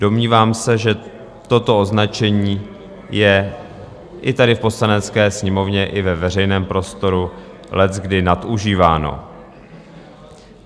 Domnívám se, že toto označení je i tady v Poslanecké sněmovně i ve veřejném prostoru leckdy nadužíváno.